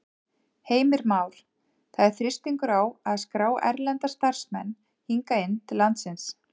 Heimir Már: Það er þrýstingur á að skrá erlenda starfsmenn hingað inn til landsins?